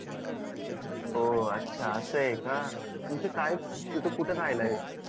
ओ अच्छा असं आहे का तुमच काय तिथं कुठ राहायला आहे